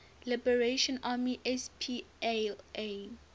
liberation army spla